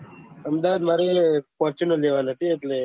અમદાવાદ મારે ફોર્તુંનર લેવાના છે એટલે